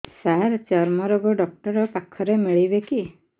ସାର ଚର୍ମରୋଗ ଡକ୍ଟର ପାଖରେ ମିଳିବେ କି